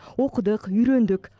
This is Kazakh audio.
оқыдық үйрендік